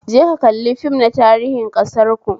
Je ka kalli fim na tarihin ƙasarku